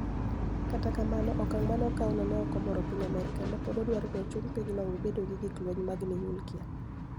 Kata kamano, okanig' ma ni e okawno ni e ok omoro piniy Amerka, ma pod dwaro nii ochuni piny no owe bedo gi gik lweniy mag niyuklia.